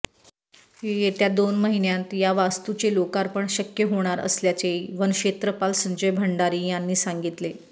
येत्या दोन महिन्यांत या वास्तूचे लोकार्पण शक्य होणार असल्याचे वनक्षेत्रपाल संजय भंडारी यांनी सांगितले